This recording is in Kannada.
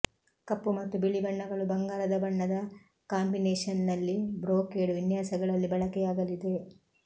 ಕಪ್ಪು ಮತ್ತು ಬಿಳಿ ಬಣ್ಣಗಳು ಬಂಗಾರದ ಬಣ್ಣದ ಕಾಂಬಿನೇಷನ್ನಲ್ಲಿ ಬ್ರೊಕೇಡ್ ವಿನ್ಯಾಸಗಳಲ್ಲಿ ಬಳಕೆಯಾಗಲಿದೆ